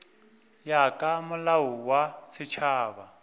ya ka molao wa setšhaba